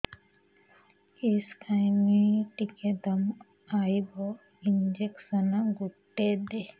କିସ ଖାଇମି ଟିକେ ଦମ୍ଭ ଆଇବ ଇଞ୍ଜେକସନ ଗୁଟେ ଦେ